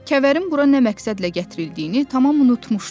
Kəvərin bura nə məqsədlə gətirildiyini tamam unutmuşdu.